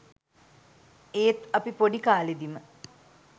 ඒත් අපි පොඩිකාලෙදිම